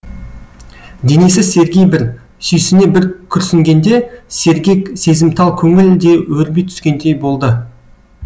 денесі серги бір сүйсіне бір күрсінгенде сергек сезімтал көңіл де өрби түскендей болды